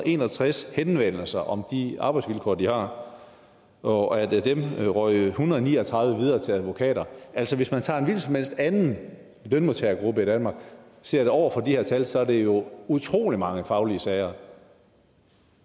en og tres henvendelser om de arbejdsvilkår de har og af dem røg en hundrede og ni og tredive videre til advokater altså hvis man tager som helst anden lønmodtagergruppe i danmark sat over for de her tal så er det jo utrolig mange faglige sager